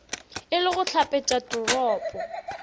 e le go hlapetša toropo